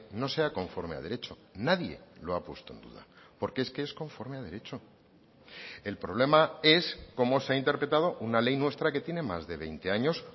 no sea conforme a derecho nadie lo ha puesto en duda porque es que es conforme a derecho el problema es cómo se ha interpretado una ley nuestra que tiene más de veinte años